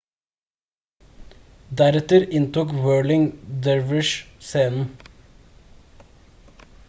deretter inntok whirling dervishes scenen